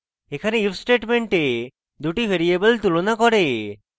এখানে if statement দুটি variable তুলনা করে